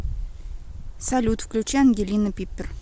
салют включи ангелина пиппер